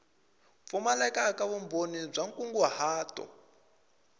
pfumaleka ka vumbhoni bya nkunguhato